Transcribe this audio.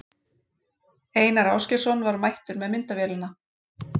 Einar Ásgeirsson var mættur með myndavélina.